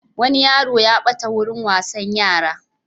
Wani yaro ya ɓata a wurin wasan yara.